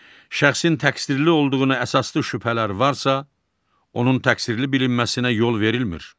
Şəxsin təqsirli olduğuna əsaslı şübhələr varsa, onun təqsirli bilinməsinə yol verilmir.